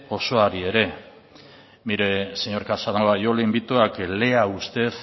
osoari ere mire señor casanova yo le invito a que lea usted